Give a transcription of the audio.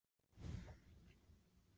Ísafirði þar sem Axel er veðurtepptur.